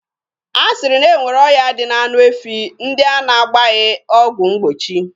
A sịrị na e nwere ọya dị n'anụ efi ndị a na-agbaghị ọgwụ mgbochi.